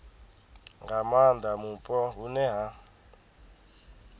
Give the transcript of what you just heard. nga maanda mupo hune ha